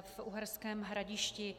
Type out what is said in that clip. v Uherském Hradišti.